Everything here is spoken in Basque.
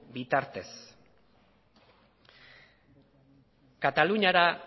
bitartez kataluniara